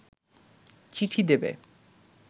চিঠি দেবে